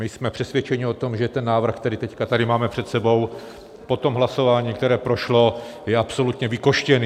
My jsme přesvědčeni o tom, že ten návrh, který teď tady máme před sebou po tom hlasování, které prošlo, je absolutně vykostěný.